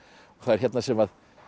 það er hérna sem